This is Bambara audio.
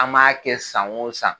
An b'a kɛ san o san